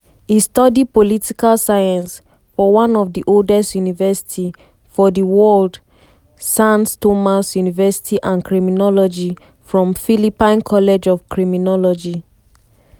e study political science for one of di oldest university for di world sans thomas university and criminology from philippine college of criminology.